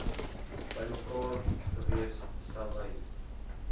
bymekaar gewees selwyn